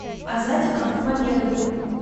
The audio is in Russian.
азатиком мамедовым